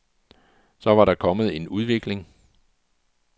Så var der kommet en udvikling.